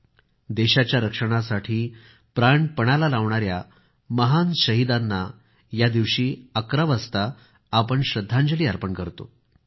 या दिवशी आपण देशाच्या रक्षणासाठी प्राण पणाला लावणाऱ्या महान शहीदांना 11 वाजता श्रद्धांजली अर्पण करतो